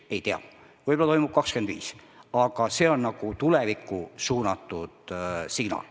Ei tea, võib-olla toimub 2025, aga see on tulevikku suunatud otsus.